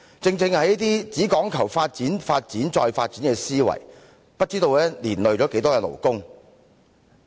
正正是這種只講求發展、發展、再發展的思維，不知道連累了多少勞工。